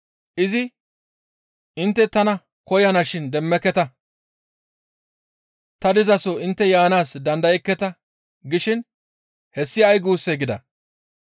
Izi, ‹Intte tana koyana shin demmeketa; ta dizaso intte yaanaas dandayekketa› gishin hessi ay guussee?» gida.